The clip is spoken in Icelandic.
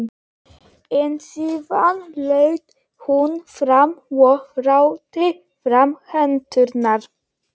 En síðan laut hún fram og rétti fram hendurnar.